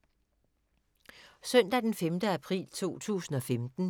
Søndag d. 5. april 2015